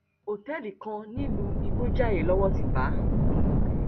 ọtẹẹlì kan nílùú ìgbọjayé lowó ti bá a